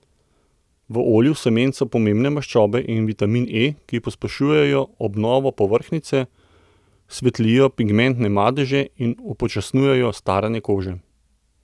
V olju semen so pomembne maščobe in vitamin E, ki pospešujejo obnovo povrhnjice, svetlijo pigmentne madeže in upočasnjujejo staranje kože.